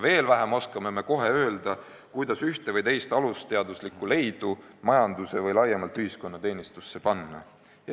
Veel vähem oskame kohe öelda, kuidas ühte või teist alusteaduslikku leidu majanduse või laiemalt ühiskonna teenistusse panna.